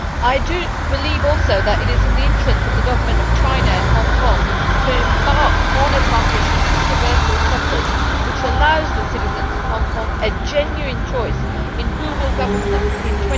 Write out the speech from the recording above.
I do believe also that it is in the interests of the Government of China and Hong Kong to embark on a transition to universal suffrage which allows the citizens of Hong Kong a genuine choice in who will govern them in